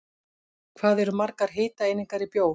Hvað eru margar hitaeiningar í bjór?